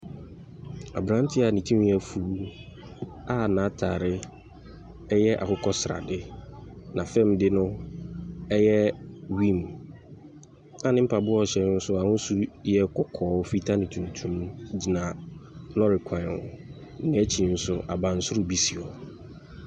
Aberanteɛ a ne ti afu a n'atare yɛ akokɔ srade, na fam de no yɛ green, na ne mpaboa ɛhyɛ no nso, n'ahosuo yɛ kɔkɔɔ, fitaa ne tuntum gyina lɔre kwan ho. N'ekyir nso abansoro bi si hɔ.